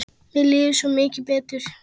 Mér líður svo mikið betur.